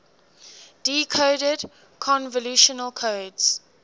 decoded convolutional codes